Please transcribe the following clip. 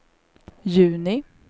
juni